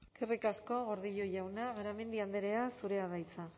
eskerrik asko gordillo jauna garamendi andrea zurea da hitza